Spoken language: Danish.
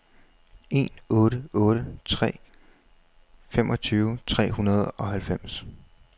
en otte otte tre femogtyve tre hundrede og halvfems